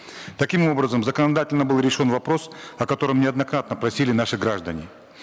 таким образом законодательно был решен вопрос о котором неоднократно просили наши граждане